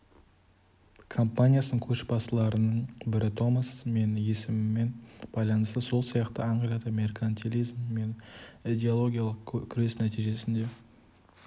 компаниясының көшбастыларының бірі томас мен есімімен байланысты сол сияқты англияда меркантилизм мен идеологиялық күрес нәтижесінде